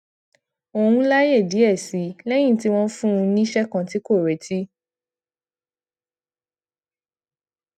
òun láyè díè sí i léyìn tí wón fún un níṣé kan tí kò retí